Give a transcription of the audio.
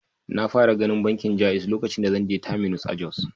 Na fara ganin bankin Jaiz lokacin da zan je Terminus a Jos.